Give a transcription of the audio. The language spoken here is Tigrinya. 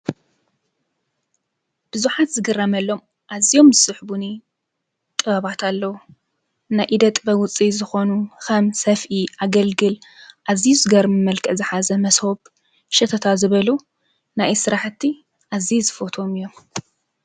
ብዙሓት ዝግረመሎም አዝዮም ዝስሕቡኒ ጥበባት አለው ናይ ኢደ ጥበብ ውፅኢት ዝኮኑ ከም ሰፍኢ፣ አገልግል አዝዩ ዝገርም መልክዕ ዝሓዘ መሶብ ሸተታ ዝበሉ ናይ ኢድ ስራሕቲ አዝየ ዝፈትዎም እዮም።